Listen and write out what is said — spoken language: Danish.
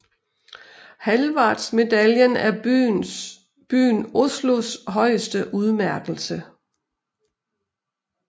Hallvardsmedaljen er byen Oslos højeste udmærkelse